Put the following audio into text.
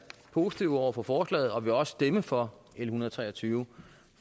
positive over for forslaget og vil også stemme for en hundrede og tre og tyve